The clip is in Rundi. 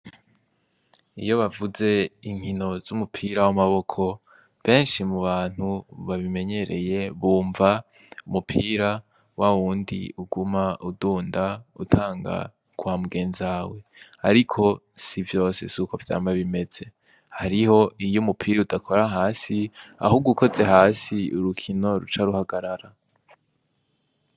Iyo bavuze inkino z'umupira w'amaboko, benshi mu bantu babimenyereye bumva umupira wa wundi uguma udunda utanga kwa mugenzawe. Ariko si vyose si ukwo vyama bimeze. Hari ho iyo umupira udakora hasi, ahubwo ukoze hasi urukino ruca ruhagarara.